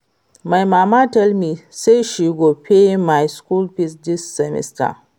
My mama tell me say she go pay my school fees dis semester